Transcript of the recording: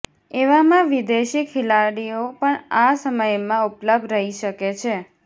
એવામાં વિદેશી ખેલાડીઓ પણ આ સમયમાં ઉપલબ્ધ રહી શકે છે